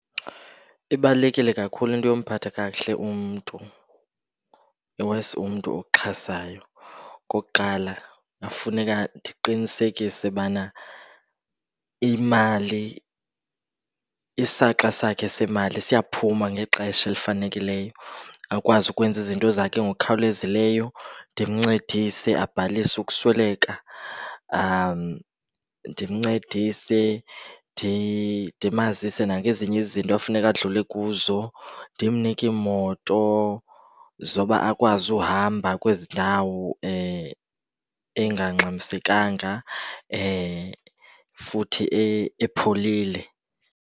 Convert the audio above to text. Ibalulekile kakhulu into yokumphatha kakuhle umntu, i-worse umntu okuxhasayo. Okokuqala, kungafuneka ndiqinisekise bana imali, isaxa sakhe semali siyaphuma ngexesha elifanelekileyo akwazi ukwenza izinto zakhe ngokukhawulezileyo. Ndimncedise abhalise ukusweleka, ndimncedise ndimazise nangezinye izinto afuneka adlule kuzo. Ndimnike iimoto zoba akwazi uhamba kwezi ndawo engangxamiisekanga futhi epholile.